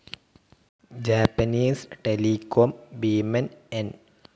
Japanese telecom ഭീമൻ N.